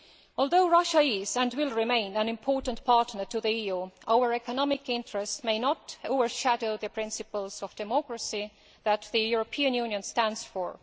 Although Russia is and will remain an important partner to the EU, our economic interests may not overshadow the principles of democracy that the European Union stands for.